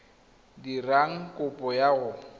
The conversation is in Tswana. o dirang kopo ya go